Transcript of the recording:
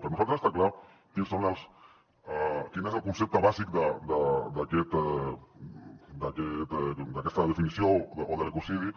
per nosaltres està clar quin és el concepte bàsic d’aquesta definició o de l’ ecocidi